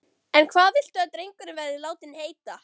En hvað viltu að drengurinn verði látinn heita?